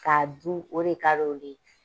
Ka'a dun o de ka di olu ye.